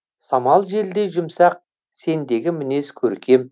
самал желдей жұмсақ сендегі мінез көркем